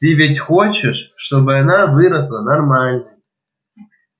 ты ведь хочешь чтобы она выросла нормальной